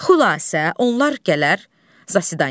Xülasə, onlar gələr zasidanyaya.